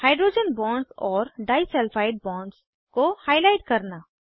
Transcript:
hydrogen bonds और disulphide bonds को highlight करना